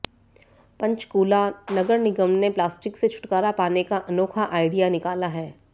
पंचकूला नगर निगम ने प्लास्टिक से छुटकारा पाने का अनोखा आइडिया निकाला है